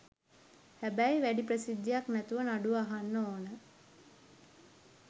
හැබැයි වැඩි ප්‍රසිද්ධියක් නැතුව නඩුව අහන්න ඕන.